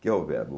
Que é o verbo.